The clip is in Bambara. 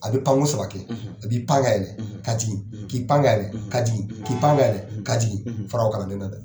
A bɛ panko saba kɛ a bi pan ka yɛlɛ ka jigin k'i pan ka yɛlɛ ka jgin k'i pan ka yɛlɛ ka jigin far'o kalanden na dɛ.